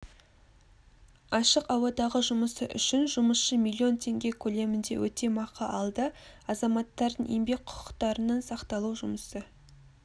ашық ауадағы жұмысы үшін жұмысшы миллион теңге көлемінде өтемақы алды азаматтардың еңбек құқықтарының сақталу жұмысы